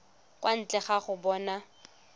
kwa ntle ga go bona